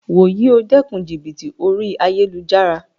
Wo yíì o dékun jìbìtì orí ayélujára